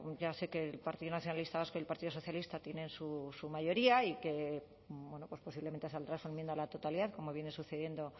ya sé que el partido nacionalista vasco y el partido socialista tienen su mayoría y que bueno pues posiblemente saldrá su enmienda a la totalidad como viene sucediendo